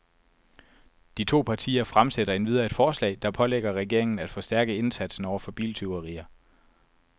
De to partier fremsætter endvidere et forslag, der pålægger regeringen af forstærke indsatsen over for biltyverier.